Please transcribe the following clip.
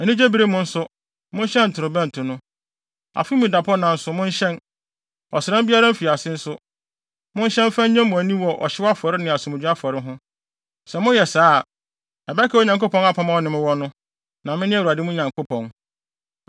Anigyebere mu nso, monhyɛn ntorobɛnto no. Afe mu dapɔnna nso, monhyɛn. Ɔsram biara mfiase nso, monhyɛn mfa nnye mo ani wɔ ɔhyew afɔre ne asomdwoe afɔre ho. Sɛ moyɛ saa a, ɛbɛkae Onyankopɔn apam a ɔne mo wɔ no. Na mene Awurade mo Nyankopɔn.”